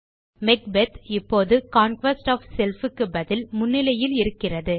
Macbeth இப்போது conquest of self க்கு பதில் முன்னிலையில் இருக்கிறது